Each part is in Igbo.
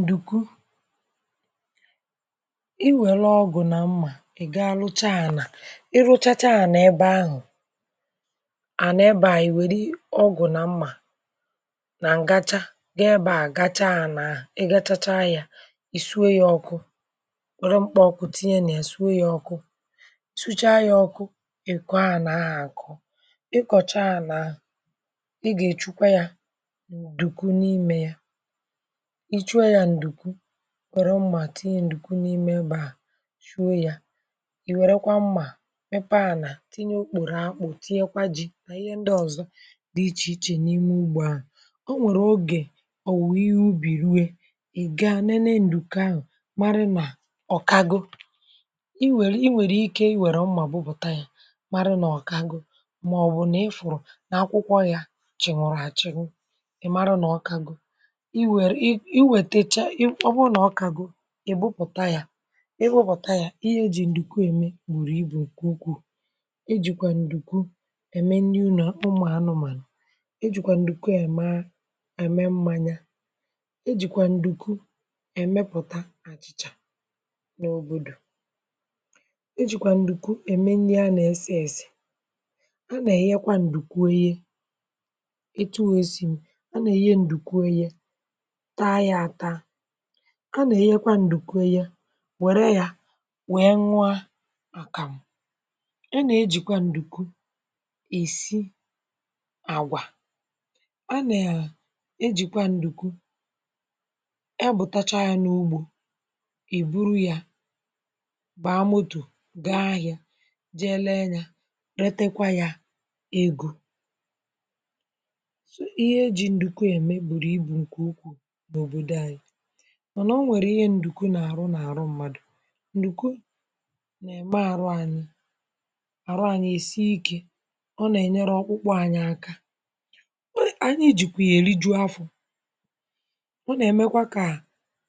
ǹdùkwu, i wère ọgụ̀ na mmà, ị gaa lụcha ànà. i rụchacha ànà, ebe ahụ̀, ànà ebe ànyị wère ọgụ̀ nà mmà, nà ǹgacha gị. ebe à gacha, a n’ahụ̀, ị gachacha yȧ, ì sụọ yȧ ọkụ. wère mkpá ọkụ, tinye nà, è sụọ yȧ ọkụ. ị sụcha yȧ ọkụ̇, ị̀ kọwa n’ahụ̀ àkụ, ị kọ̀cha n’ahụ̀. ị gà èchukwa yȧ dùkwu, n’imė yȧ, nwère mmà, tinye ǹdùkwu n’ime. um ebe à, chuo yȧ, ì wèrekwa mmà, mepe ànà, tinye okpòrò akpụ, tinye kwȧ ji, nà ihe ndị ọ̀zọ dị ichè ichè, n’ime ugbȯ ahụ̀. ọ nwèrè ogè, ọ̀wụ̀ ihe ubì rue, ì ga nene ǹdùkwu ahụ̀, mara nà ọ̀kago. i wère, i wère ike, i wère mmà, bubùta yȧ, mara nà ọ̀kago. mà ọ̀ bụ̀, nà ị fụ̀rụ̀ nà akwụkwọ yȧ, chị̀ nwụ̀rụ̀ àchịnwu, ị mara nà ọ̀kago. ihe iji̇ ǹdùkwu ème gbùrù ibù ǹkù ukwù. ijìkwà ǹdùkwu ème, niu nọ̀ ụmụ̀ anụmànụ̀. ijìkwà ǹdùkwu èmaa, ème mmȧnyȧ. ijìkwà ǹdùkwu èmepùta àchị̀chà n’òbòdò. um ijìkwà ǹdùkwu ème nii a, nà-èsi, èsì a nà-èye. kwa, ǹdùkwu ehi̇, itu wee ezì m, a nà-èye ǹdùkwu ehi̇. a nà-ènyekwa ǹdùkwe, ya wère ya, wèe nwa àkàmụ̀. a nà-ejìkwa ǹdùkwe ìsi àgwà, a nà-ejìkwa ǹdùkwe. e bùtacha n’ugbȯ, e buru yȧ, bàa motò, gaa ahịȧ, jee lee yȧ, retekwa yȧ egȯ. mànà o nwèrè ihe, ǹdùkwu nà-àrụ n’àrụ mmadụ̀. ǹdùkwu nà-ème àrụ ànyị, àrụ ànyị èsighikė. ọ nà-ènyere ọkpụ̇kpụ̇ anyi aka, ọ, ànyị jìkwà yà, èli juo afọ̀. ọ nà-èmekwa kà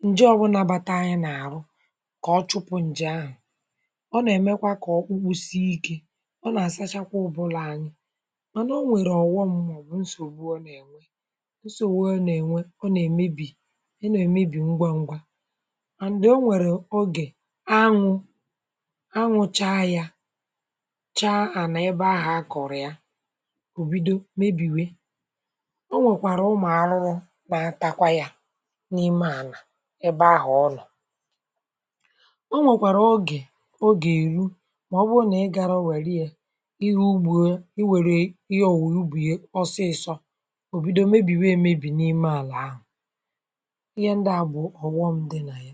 ǹje ọbụlà bàtà anyi nà-àrụ, kà ọ chụpụ̀ ǹje ahụ̀. ọ nà-èmekwa kà ọkpụkpụ si ikė, ọ nà-àsachakwa ụbụlà ànyị. um mànà o nwèrè ọ̀wọ mma, bù ǹsògbu. ọ nà-ènwe ụsọ̇ wụọ, ɔ nà-ènwe, ọ nà-èmebì enù, emebì ngwa ngwa. and, o nwèrè ogè, anwụ̇ anwụcha yȧ, chaa ànà, ebe ahụ̀ akọ̀rị̀a òbido, mebìwe. o nwèkwàrà ụmụ̀ arụrụ, nà-atakwa yȧ n’ime ànà ebe ahụ̀ ọnọ̀. o nwèkwàrà ọgè, ogè eru, màọbụ̇ ọ nà, ị gàrọ wèri yȧ ihe. ugbue, i wèrè ihe ọ̀wụ̀ ya, ọsịịsọ òbido, mebìwe, emebì n’ime ànà ahụ̀. uye, ndị a bụ ọghọm dị nà ya.